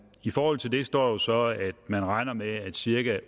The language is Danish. i forhold til det står så at man regner med at i cirka